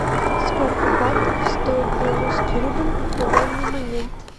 сколько батов стоит белорусский рубль на данный момент